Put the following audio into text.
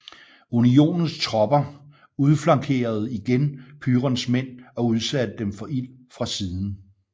Unionens tropper udflankerede igen Pyrons mænd og udsatte dem for ild fra siden